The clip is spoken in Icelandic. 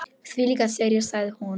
Þvílík sería sagði hún.